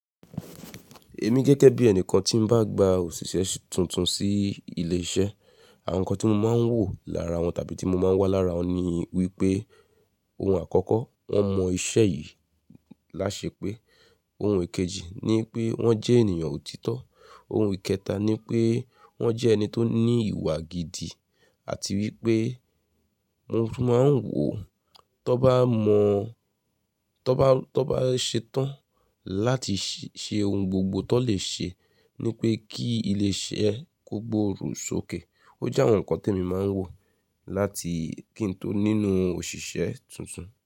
Èmi gẹ́gẹ́ bí ẹnìkan tí ń bá gba òṣìṣẹ́ tuntun sí ilé iṣẹ́, àwọn nǹkan tí mo máa ń wò lára wọn tàbí tí mo máa ń wá lára wọn ni wípé ohun àkọ́kọ́, wọ́n mọ iṣẹ́ yìí láṣepé. Ohun ìkejì ni pé wọ́n jẹ́ ènìyàn òtítọ́. Ohun ìkẹta ni pé wọ́n jẹ́ ẹni tó ní ìwà gidi àti wípé mo tun máa ń wò tó bá mọ̀, tó bá, tó bá ṣe tán láti ṣe ohun gbogbo tó lè ṣe ni pé kí ilé iṣẹ́ kó gboòrò sókè. Ó jẹ́ àwọn nǹkan tí èmi máa ń wò láti kí n tó nínú òṣìṣẹ́ tuntun.